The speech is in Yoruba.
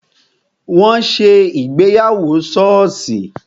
Wọn ṣe ìgbéyàwó soosi